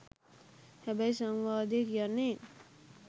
හැබැයි සංවාදේ කියන්නේ